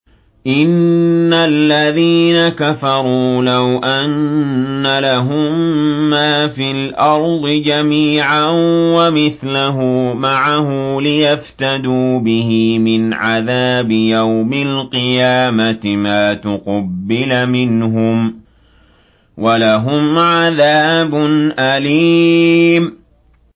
إِنَّ الَّذِينَ كَفَرُوا لَوْ أَنَّ لَهُم مَّا فِي الْأَرْضِ جَمِيعًا وَمِثْلَهُ مَعَهُ لِيَفْتَدُوا بِهِ مِنْ عَذَابِ يَوْمِ الْقِيَامَةِ مَا تُقُبِّلَ مِنْهُمْ ۖ وَلَهُمْ عَذَابٌ أَلِيمٌ